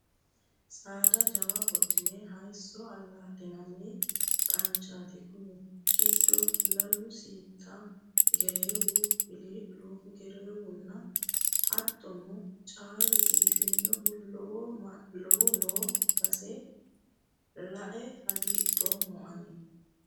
Saada jawa wodhine hayiso alaa'linanni qanchoti kuni giddo lalu siitta gereewu wili'lu gereerewunnihu hattono caalu biifanohu lowo noo base lae hagiidhoommo ani.